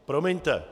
Promiňte.